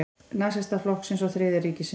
Nasistaflokksins og Þriðja ríkisins.